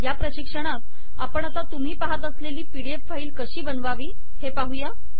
या प्रशिक्षणात आपण आता तुम्ही पाहत असलेली पीडीएफ फाईल कशी बनवावी हे पाहुया